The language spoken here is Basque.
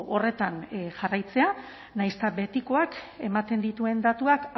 horretan jarraitzea nahiz eta betikoak ematen dituen datuak